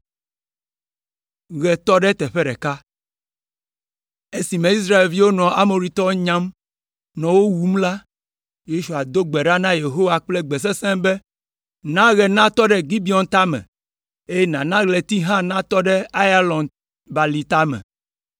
Esime Israelviwo nɔ Amoritɔwo nyam, nɔ wo wum la, Yosua do gbe ɖa na Yehowa kple gbe sesẽ be, “Na ɣe natɔ ɖe Gibeon tame, eye nàna ɣleti hã natɔ ɖe Aiyalon balime tame!”